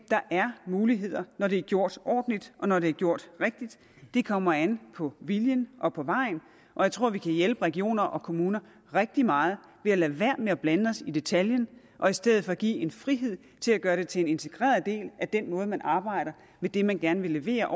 er muligheder når det er gjort ordentligt og når det er gjort rigtigt det kommer an på viljen og på vejen jeg tror at vi kan hjælpe regioner og kommuner rigtig meget ved at lade være med at blande os i detaljen og i stedet for give frihed til at gøre det til en integreret del af den måde man arbejder med det man gerne vil levere